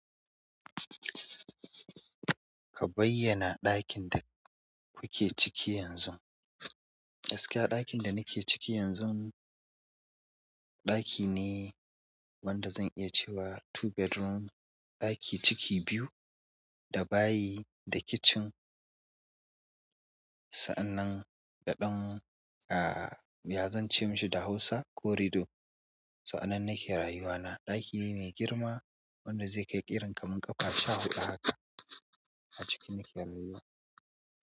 Ka bayyana ɗakin da kuke ciki yanzu. Gaskiya ɗakin da nake ciki yanzu, ɗaki ne wanda zan iya cewa two bedroom, ɗaki ciki biyu da bayi da kitchen. Sa'annan da dan aaa ya zance mishi da hausa corridor. So anan nake rayuwa na. Dakine mai girma wanda ze kai irin kamar ƙafa sha huɗu haka. A ciki nake rayuwa.